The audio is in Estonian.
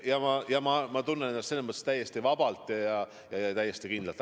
Ja ma tunnen ennast selles mõttes täiesti vabalt ja täiesti kindlalt.